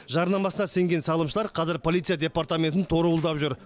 жарнамасына сенген салымшылар қазір полиция департаментін торауылдап жүр